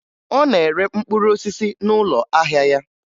Ọ na-ere mkpụrụ osisi n'ụlọ ahịa ya